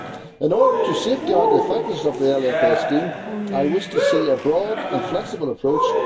In order to safeguard the effectiveness of the LFA scheme, I wish to see a broad and flexible approach.